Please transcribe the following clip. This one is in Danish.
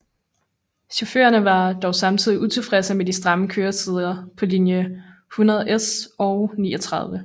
Chaufførerne var dog samtidig utilfredse med de stramme køretider på linje 100S og 39